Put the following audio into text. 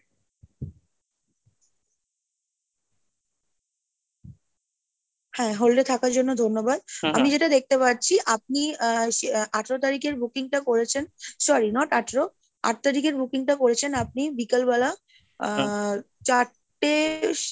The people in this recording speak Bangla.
হ্যাঁ, hold এ থাকার জন্য ধন্যবাদ আমি যেটা দেখতে পাচ্ছি আপনি আহ আঠারো তারিখের booking টা করেছেন, sorry not আঠারো আট তারিখের booking টা করেছেন আপনি বিকালবেলা আহ চারটে~ এ,